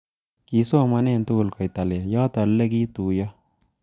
Kisomane tugul koitalel ,yotok ule kituiyo